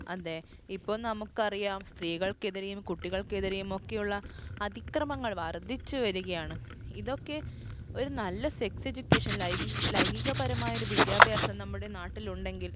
അതെ ഇപ്പൊ നമുക്കറിയാം സ്ത്രീകൾക്കെതിരെയും കുട്ടികൾക്കെതിരെയുമൊക്കെയുള്ള അതിക്രമങ്ങൾ വർധിച്ചു വരികയാണ് ഇതൊക്കെ ഒരു നല്ല sex education ലൈംഗി ലൈംഗികപരമായ ഒരു വിദ്യാഭ്യാസം നമ്മുടെ നാട്ടിൽ ഉണ്ടെങ്കിൽ